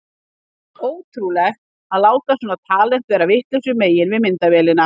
Ótrúlegt að láta svona talent vera vitlausu megin við myndavélina!